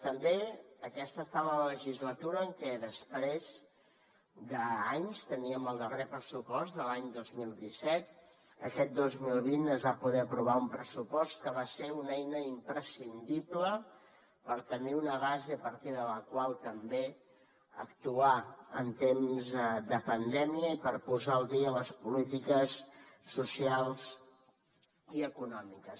també aquesta ha estat la legislatura en què després d’anys teníem el darrer pressupost de l’any dos mil disset aquest dos mil vint es va poder aprovar un pressupost que va ser una eina imprescindible per tenir una base a partir de la qual també actuar en temps de pandèmia i per posar al dia les polítiques socials i econòmiques